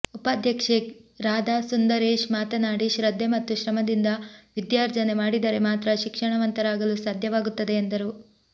ಉಪಾಧ್ಯಕ್ಷೆ ರಾಧಾ ಸುಂದರೇಶ್ ಮಾತನಾಡಿ ಶ್ರದ್ದೆ ಮತ್ತು ಶ್ರಮದಿಂದ ವಿದ್ಯಾರ್ಜನೆ ಮಾಡಿದರೆ ಮಾತ್ರ ಶಿಕ್ಷಣವಂತರಾಗಲು ಸಾಧ್ಯವಾಗುತ್ತದೆ ಎಂದರು